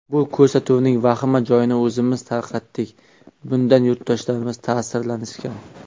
Bu ko‘rsatuvning vahima joyini o‘zimiz tarqatdik, bundan yurtdoshlarimiz ta’sirlanishgan.